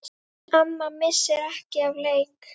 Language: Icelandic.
Amma missir ekki af leik.